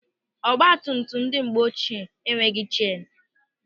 Ọgbatumtum ndị mgbe ochie enweghị chenu.